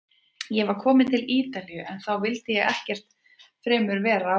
Ég var kominn til Ítalíu- en þá vildi ég ekkert fremur en vera á Íslandi.